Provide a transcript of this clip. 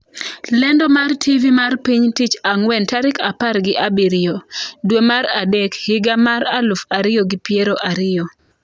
Lendo mar TV mar piny tich ang'uen tarik apar gi abiriyo, dwe mar adek, higa mar aluf ariyo gi piero ariyo.